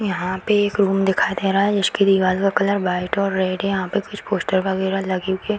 यहाँ पे एक रूम दिखाई दे रहा है जिसकें दीवाल का कलर व्हाइट और रेड है यहाँ पे कुछ पोस्टर वगेरा लगे हुए --